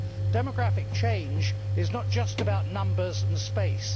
Demographic change is not just about numbers and space.